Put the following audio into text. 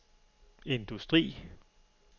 industri